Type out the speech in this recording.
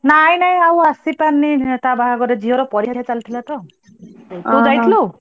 ନାଇ ନାଇ ଆଉ ଆସି ପାରିନି ତା ବାହାଘରକୁ ,ଝିଅର ପରୀକ୍ଷା ଚାଲିଥିଲା ତ। ତୁ ଯାଇଥିଲୁ?